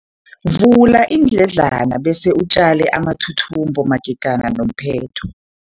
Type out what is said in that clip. Vula iindledlana bese utjale amathuthumbo magega nomphetho.